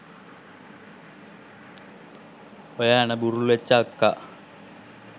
ඔය ඇණ බුරුල් වෙච්චි අක්කා